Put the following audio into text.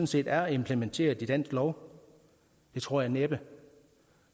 set er implementeret i dansk lov det tror jeg næppe